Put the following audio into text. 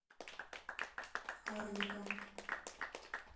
арника